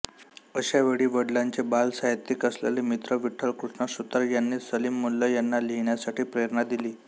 अश्यावेळी वडिलांचे बालसाहित्यिक असलेले मित्र विठ्ठल कृष्णा सुतार यांनी सलीम मुल्ला यांना लिहिण्यासाठी प्रेरणा दिली